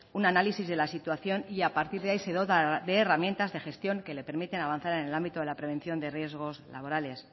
un análisis de la situación y a partir de ahí se dota de herramientas de gestión que le permiten avanzar en el ámbito de la prevención de riesgos laborales